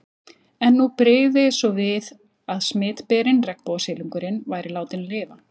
En nú brygði svo við að smitberinn, regnbogasilungurinn, væri látinn lifa.